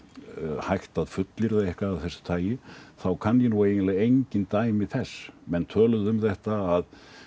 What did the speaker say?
hægt að fullyrða eitthvað af þessu tagi þá kann ég nú eiginlega engin dæmi þess menn töluðu um þetta